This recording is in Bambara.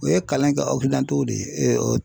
O ye kalan kɛ de ye